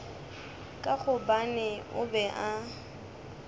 ka gobane o be a